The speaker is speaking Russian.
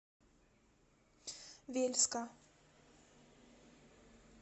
вельска